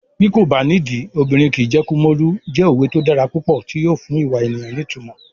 Bí kò bá nídìí, obìnrin kìí jẹ́ Kumolu" jẹ́ òwe tó dára púpọ̀ tí yóò fún ìwà ènìyàn ní ìtumọ̀.